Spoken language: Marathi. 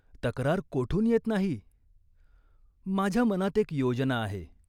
तक्रार कोठून येत नाही." "माझ्या मनात एक योजना आहे.